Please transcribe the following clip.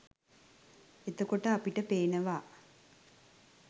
එතකොට අපිට පේනවා